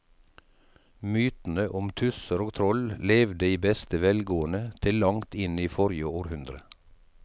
Mytene om tusser og troll levde i beste velgående til langt inn i forrige århundre.